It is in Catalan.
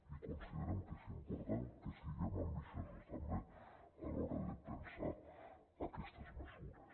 i considerem que és important que siguem ambiciosos també a l’hora de pensar aquestes mesures